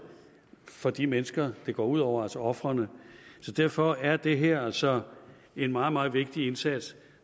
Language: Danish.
for de mennesker det går ud over altså ofrene så derfor er det her altså en meget meget vigtig indsats